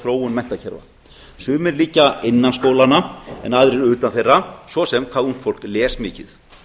þróun menntakerfa sumir liggja innan skólanna en aðrir utan þeirra svo sem hvað ungt fólk les mikið